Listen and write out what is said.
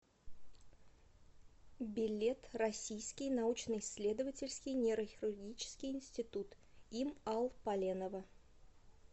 билет российский научно исследовательский нейрохирургический институт им ал поленова